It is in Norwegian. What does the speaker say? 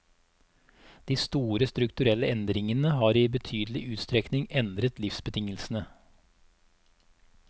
De store strukturelle endringene har i betydelig utstrekning endret livsbetingelsene.